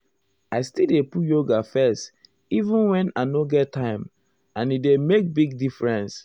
i still dey put yoga first even wen i nor get time and e dey make big difference.